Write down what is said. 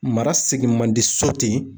Mara segin man di so ten